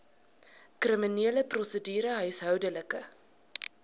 kriminele prosedure huishoudelike